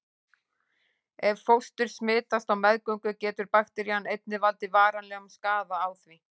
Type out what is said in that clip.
Ef fóstur smitast á meðgöngu getur bakterían einnig valdið varanlegum skaða á því.